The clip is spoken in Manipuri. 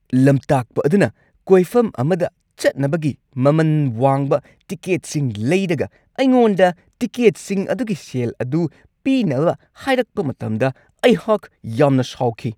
ꯂꯝꯇꯥꯛꯄ ꯑꯗꯨꯅ ꯀꯣꯏꯐꯝ ꯑꯃꯗ ꯆꯠꯅꯕꯒꯤ ꯃꯃꯟ ꯋꯥꯡꯕ ꯇꯤꯀꯦꯠꯁꯤꯡ ꯂꯩꯔꯒ ꯑꯩꯉꯣꯟꯗ ꯇꯤꯀꯦꯠꯁꯤꯡ ꯑꯗꯨꯒꯤ ꯁꯦꯜ ꯑꯗꯨ ꯄꯤꯅꯕ ꯍꯥꯏꯔꯛꯄ ꯃꯇꯝꯗ ꯑꯩꯍꯥꯛ ꯌꯥꯝꯅ ꯁꯥꯎꯈꯤ ꯫